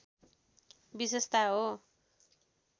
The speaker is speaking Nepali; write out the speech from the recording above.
विशेषता हो